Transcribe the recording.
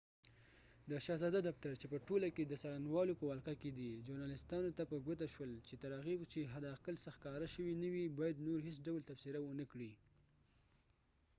د شهزاده دفتر چې په ټوله کې د څارنوالو په ولقه کې دی ژورنالیستانو ته په ګوته شول چې تر هغې چې حداقل څه ښکاره شوي نه وي باید نور هیڅ ډول تبصره ونکړي